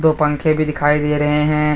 पंखे भी दिखाई दे रहे हैं।